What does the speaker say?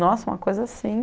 Nossa, uma coisa assim.